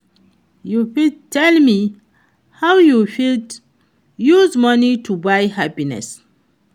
you fit tell me how you fit use money to buy happiness.